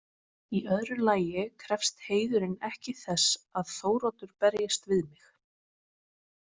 Í öðru lagi krefst heiðurinn ekki þess að Þóroddur berjist við mig.